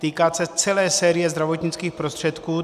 Týká se celé série zdravotnických prostředků.